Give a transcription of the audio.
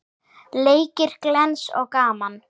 Leikir glens og gaman.